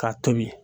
K'a tobi